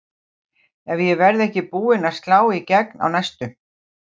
Ef ég verð ekki búin að slá í gegn á næstu